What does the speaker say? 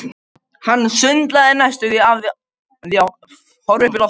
Hann sundlaði næstum af því að horfa upp í loftið.